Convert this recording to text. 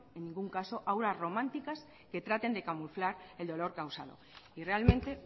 en ningún caso auras románticas que traten de camuflar el dolor causado y realmente